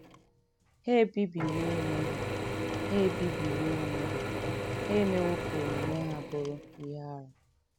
“ Ha ebibiwo onwe Ha ebibiwo onwe ha, ha emewo ka omume ha bụrụ ihe arụ. ”